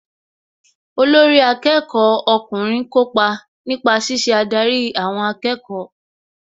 Olórí akẹ́kọ̀ọ́ ọkùnrin kópa nípa ṣíṣe adarí àwọn akẹ́kọ̀ọ́